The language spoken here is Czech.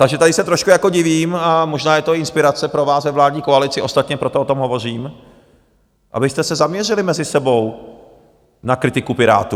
Takže tady se trošku divím, a možná je to inspirace pro vás ve vládní koalici, ostatně proto o tom hovořím, abyste se zaměřili mezi sebou na kritiku Pirátů.